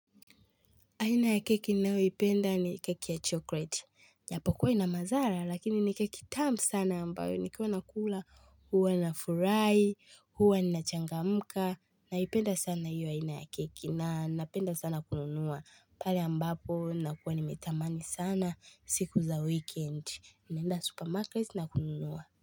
Aina ya keki ninayo ipenda ni keki ya chocolate. Japo kuwa ina mazara lakini ni keki tamu sana ambayo nikiwa nakula huwa na furahi huwa nachangamka naipenda sana hiyo aina ya keki na napenda sana kununua. Pale ambapo nakuwa nimetamani sana siku za weekend naenda supermarket na kununua.